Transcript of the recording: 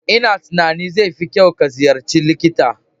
A'a, una tunanin zai fi kyau ka ziyarci likita.